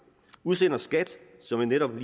udsender skat som jeg netop